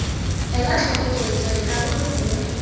ela tlhoko tsweetswee karolo gongwe